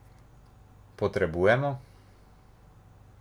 Potrebujemo?